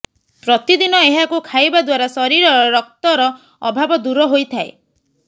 ପ୍ରତିଦିନ ଏହାକୁ ଖାଇବା ଦ୍ୱାରା ଶରୀରରେ ରକ୍ତର ଅଭାବ ଦୂର ହୋଇଥାଏ